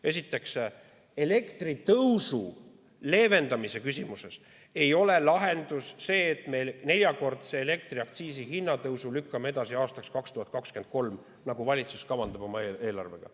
Esiteks, elektri hinna tõusu leevendamise küsimuses ei ole lahendus see, et me neljakordse elektriaktsiisi tõusu lükkame edasi aastaks 2023, nagu valitsus kavandab oma eelarvega.